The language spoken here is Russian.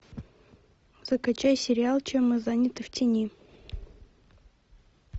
закачай сериал чем мы заняты в тени